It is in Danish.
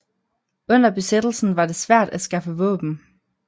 Under besættelsen var det svært at skaffe våben